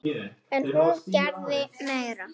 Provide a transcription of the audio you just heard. En hún gerði meira.